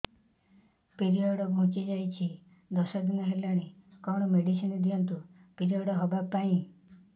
period ଘୁଞ୍ଚି ଯାଇଛି ଦଶ ଦିନ ହେଲାଣି କଅଣ ମେଡିସିନ ଦିଅନ୍ତୁ ପିରିଅଡ଼ ହଵା ପାଈଁ